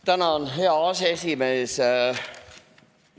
Tänan, hea aseesimees!